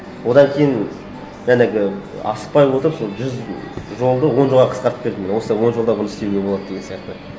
одан кейін жаңағы асықпай отырып сол жүз жолды он жолға қысқартып бердім міне осылай он жолдығын істеуге болады деген сияқты